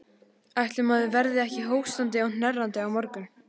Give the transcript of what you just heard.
Ætli maður verði ekki hóstandi og hnerrandi á morgun.